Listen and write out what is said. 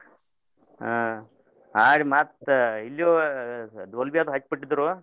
ಹಾ ಆಡಿ ಮತ್ತ್ ಇಲ್ಯೂ Dolbey ಅದ್ ಹಕ್ಬಿಟ್ಟಿದ್ರೂ.